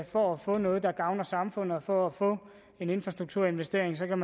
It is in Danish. for at få noget der gavner samfundet og for at få en infrastrukturinvestering kan